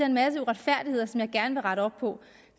en masse uretfærdigheder som jeg gerne vil rette op på